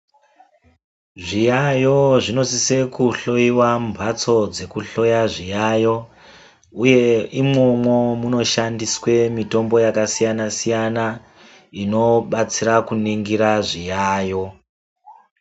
Zviyayo zvinosisa kuhloiwa mumhatso dzekuhloya zviyayo. Uye imwomwo munoshandiswa mitombo yakasiyana siyana inobatsira kuningira zviyayo.